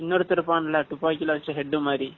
படுத்துருப்பான்ல துப்பாக்கில இருந்து head மாதிரி